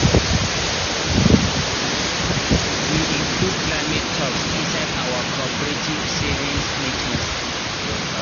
we include climate talks inside our cooperative savings meetings.